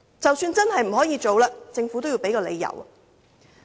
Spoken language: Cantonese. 即使真的不可行，政府也應該提出理由。